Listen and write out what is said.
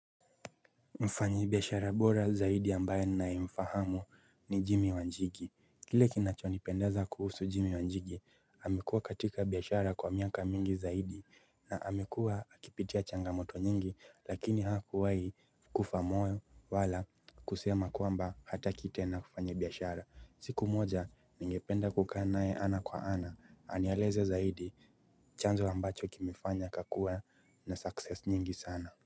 Mfanyi biashara bora zaidi ambaye namfahamu ni Jimmy Wanjigi kile kinachonipendeza kuhusu Jimmy Wanjigi amekuwa katika biashara kwa miaka mingi zaidi na amekuwa akipitia changamoto nyingi lakini hakuwai kufa moyo wala kusema kuamba hataki tena kufanya biashara siku moja ningependa kuka naye ana kwa ana anieleze zaidi chanzo ambacho kimefanya akakuwa na success nyingi sana.